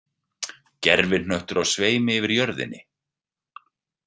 Gervihnöttur á sveimi yfir jörðinni.